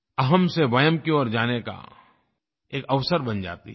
अहम् से वयम् की ओर जाने का एक अवसर बन जाती है